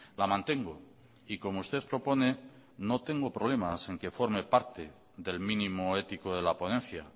la mantengo y como usted propone no tengo problemas en que forme parte del mínimo ético de la ponencia